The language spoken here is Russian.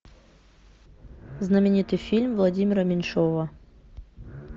знаменитый фильм владимира меньшова